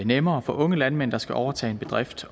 nemmere for unge landmænd der skal overtage en bedrift